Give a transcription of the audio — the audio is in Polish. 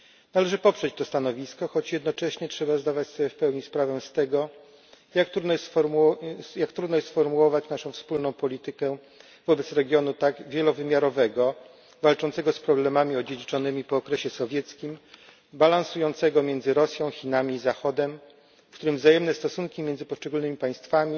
Należy poprzeć to stanowisko, choć jednocześnie trzeba zdawać sobie w pełni sprawę z tego, jak trudno jest sformułować naszą wspólną politykę wobec regionu tak wielowymiarowego, walczącego z problemami odziedziczonym po okresie sowieckim, balansującego między Rosją, Chinami i Zachodem, w którym wzajemne stosunki między poszczególnymi państwami